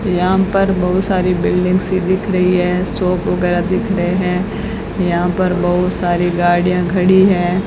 यहां पर बहोत सारी बिल्डिंग्स सी दिख रही है शॉप वगैरा दिख रहे है यहां पर बहोत सारी गाड़ियां खड़ी है।